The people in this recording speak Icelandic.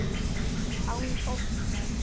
Án óttans.